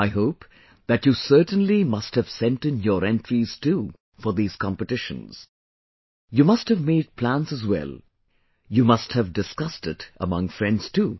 I hope that you certainly must have sent in your entries too for these competitions...you must have made plans as well...you must have discussed it among friends too